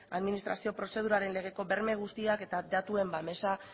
administrazio prozeduraren legeko berme guztiak eta datuen babesa